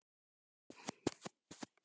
Logandi veggur sem fór hratt yfir.